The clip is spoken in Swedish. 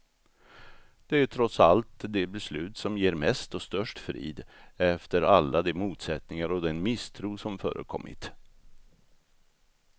Det är trots allt det beslut som ger mest och störst frid, efter alla de motsättningar och den misstro som förekommit.